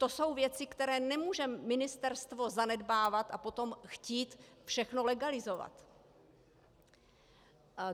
To jsou věci, které nemůže ministerstvo zanedbávat, a potom chtít všechno legalizovat.